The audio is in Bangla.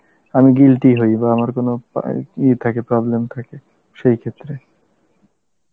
আমি guilty হই বা আমার কোনো পা~ ইয়ে থাকে problem থাকে সেই ক্ষেত্রে